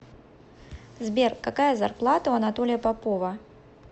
сбер какая зарплата у анатолия попова